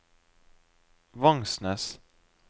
Vangsnes